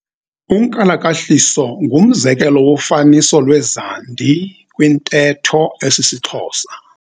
Unkalakahliso ngumzekelo wofaniso lwezandi kwintetho esisiXhosa.